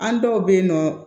An dɔw bɛ yen nɔ